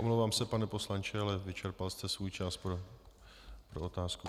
Omlouvám se, pane poslanče, ale vyčerpal jste svůj čas pro otázku.